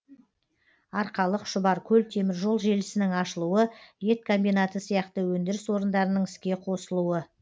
арқалық шұбаркөл теміржол желісінің ашылуы ет комбинаты сияқты өндіріс орындарының іске қосылуы